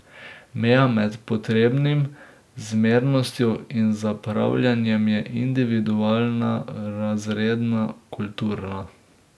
Meja med potrebnim, zmernostjo in zapravljanjem je individualna, razredna, kulturna ...